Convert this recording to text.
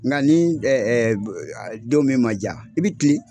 Nka ni don min ma diya, i bɛ kilen.